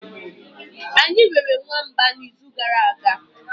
anyi rere nwamba n'izu gara aga.